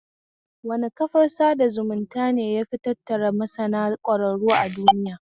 Wane kafar sada zumunta ne yafi tattara masana ƙwararru a duiya?